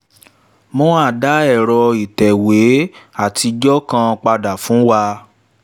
mohan dá ẹ̀rọ ìtẹ̀wé àtijọ́ kan padà fún wa.